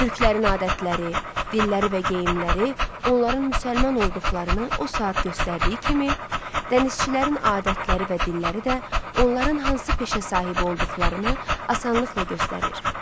Türklərin adətləri, dilləri və geyimləri onların müsəlman olduqlarını o saat göstərdiyi kimi, dənizçilərin adətləri və dilləri də onların hansı peşə sahibi olduqlarını asanlıqla göstərir.